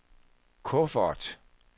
kuffert